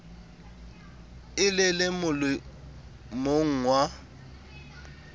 e le le molemong wa